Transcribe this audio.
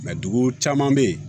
dugu caman bɛ yen